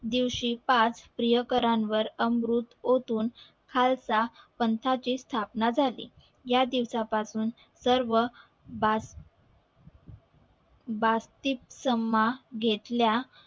दिवशी पाच प्रियकरावर अमृत ओतून खालसा पंथाची ची स्थापना झाली या दिवस पासून सर्व भाष भाचीक समा घेतल्या